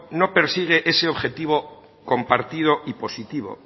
no persigue ese objetivo compartido y positivo